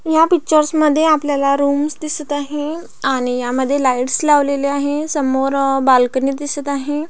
ह्या पिक्चर्स मध्ये आपल्याला रूम्स दिसत आहे आणि ह्यामध्ये लाइट लावलेले आहे समोर बालकनी दिसत आहे.